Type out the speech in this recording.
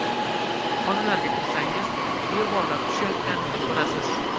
Xonalarga kirsangiz, devorlar tushayotganini ko‘rasiz.